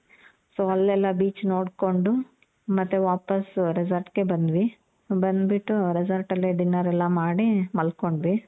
so ಅಲ್ಲೆಲ್ಲ beach ನೋಡ್ಕೊಂಡು ಮತ್ತೆ ವಾಪಾಸ್ resort ಗೆ ಬಂದ್ವಿ. ಬಂದ್ ಬಿಟ್ಟು resort ಅಲ್ಲೆ dinner ಎಲ್ಲ ಮಾಡಿ ಮಲ್ಕೊಂಡ್ವಿ